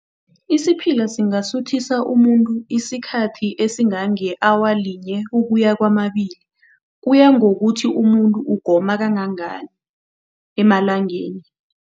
Isiphila singasuthisa umuntu isikhathi esingange-awa linye ukuya kwamabili. Kuya ngokuthi umuntu ugoma kangangani emalangeni.